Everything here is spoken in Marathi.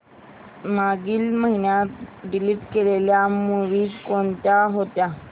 मागील महिन्यात डिलीट केलेल्या मूवीझ कोणत्या होत्या